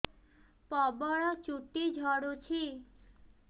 ପ୍ରବଳ ଚୁଟି ଝଡୁଛି